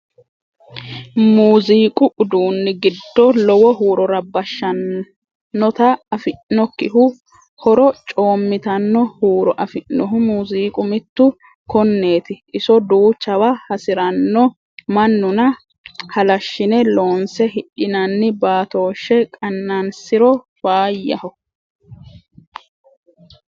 Muziiqu uduuni giddo lowo huuro rabbashanotta afi'nokkihu horo coomittano huuro afi'nohu muziiqu mitu koneti iso duuchawa hasirano mannunna halashine loonse hidhinanni baatoshe qanansiro faayyaho.